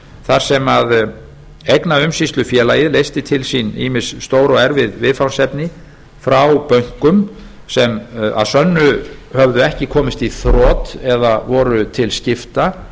þar sem eignaumsýslufélagið leysti til sín ýmis stór og erfið viðfangsefni frá bönkum sem að sönnu höfðu ekki komist í þrot eða voru til skipta